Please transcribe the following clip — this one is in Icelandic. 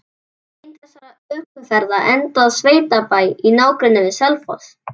Ein þessara ökuferða endaði á sveitabæ í nágrenni við Selfoss.